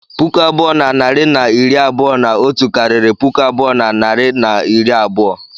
Puku abụọ na narị na iri abụọ na otu karịrị puku abụọ na narị na iri abụọ.